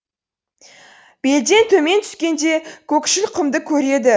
белден төмен түскенде көкшіл құмды көреді